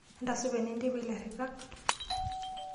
Entasupa enenteipa ilaritak?